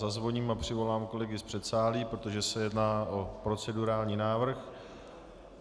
Zazvoním a přivolám kolegy z předsálí, protože se jedná o procedurální návrh.